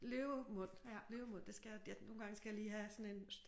Løvemund løvemund det skal jeg nogle gange skal jeg lige have sådan en